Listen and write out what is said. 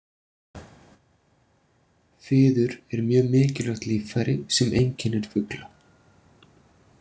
Fiður er mjög mikilvægt líffæri sem einkennir fugla.